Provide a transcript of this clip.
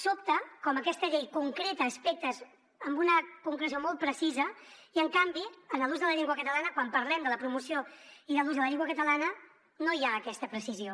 sobta com aquesta llei concreta aspectes amb una concreció molt precisa i en canvi en l’ús de la llengua catalana quan parlem de la promoció i de l’ús de la llengua catalana no hi ha aquesta precisió